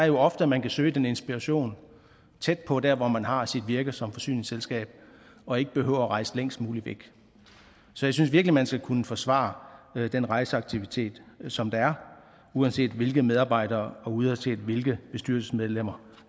jo ofte at man kan søge den inspiration tæt på der hvor man har sit virke som forsyningsselskab og ikke behøver at rejse længst muligt væk så jeg synes virkelig man skal kunne forsvare den rejseaktivitet som der er uanset hvilke medarbejdere og uanset hvilke bestyrelsesmedlemmer